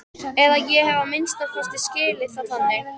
Eða ég hef að minnsta kosti skilið það þannig.